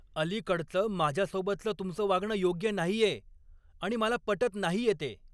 अलीकडचं माझ्यासोबतच तुमचं वागणं योग्य नाहीये आणि मला पटत नाहीये ते.